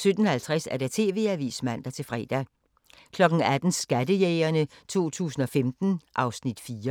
17:50: TV-avisen (man-fre) 18:00: Skattejægerne 2015 (Afs. 4)